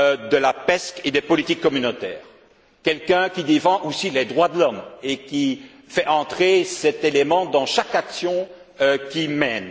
de la PESC et des politiques communautaires, quelqu'un qui défende aussi les droits de l'homme et qui fasse entrer cet élément dans chaque action qu'il